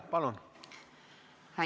Palun!